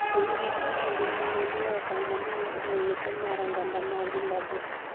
timbe makamae gin mahundu e okang' mamalo e wi yuto mar oganda ma Zimbabwe